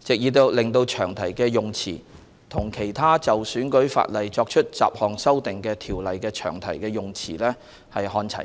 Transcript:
藉以令詳題的用辭與其他就選舉法例作出雜項修訂的條例的詳題的用辭看齊。